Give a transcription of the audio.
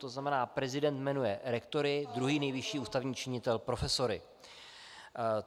To znamená, prezident jmenuje rektory, druhý nejvyšší ústavní činitel profesory.